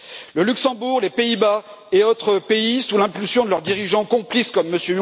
Le Luxembourg, les Pays Bas et d'autres pays, sous l'impulsion de leurs dirigeants complices, comme M.